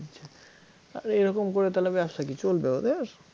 হম পুরাতন মাল ভরে দিয়েছে আরে এরকম করে তাহলে ব্যবসা কী চলবে ওদের?